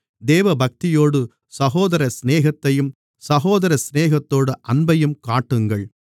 தேவபக்தியோடு சகோதரசிநேகத்தையும் சகோதரசிநேகத்தோடு அன்பையும் காட்டுங்கள்